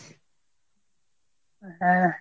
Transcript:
হ্যাঁ